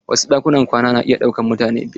Wasu ɗakunan kwana na iya ɗaukan mutane biyar.